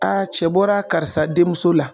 cɛ bɔra karisa denmuso la.